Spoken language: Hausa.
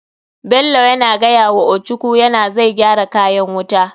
Bello yana gayawa ochuku yana zai gyara kayan wuta.